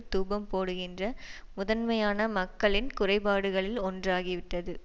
தூபம் போடுகின்ற முதன்மையான மக்களின் குறைபாடுகளில் ஒன்றாகி விட்டது